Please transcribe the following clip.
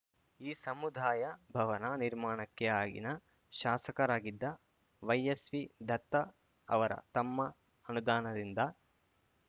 ಈ ಸಮುದಾಯ ಭವನ ನಿರ್ಮಾಣಕ್ಕೆ ಆಗಿನ ಶಾಸಕರಾಗಿದ್ದ ವೈಎಸ್‌ವಿ ದತ್ತ ಅವರ ತಮ್ಮ ಅನುದಾನದಿಂದ